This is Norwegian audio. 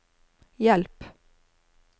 hjelp